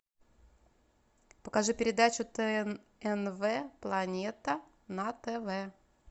покажи передачу тнв планета на тв